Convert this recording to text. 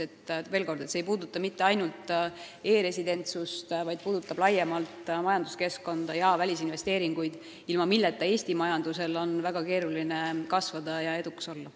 Veel kord: see ei puuduta ainult e-residentsust, vaid laiemalt majanduskeskkonda ja välisinvesteeringuid, ilma milleta Eesti majandusel on väga keeruline kasvada ja edukas olla.